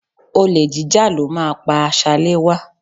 Olè jíjà ló máa pá Ṣaléwá